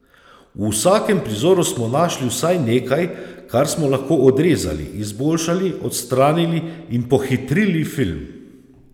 V vsakem prizoru smo našli vsaj nekaj, kar smo lahko odrezali, izboljšali, odstranili in pohitrili film.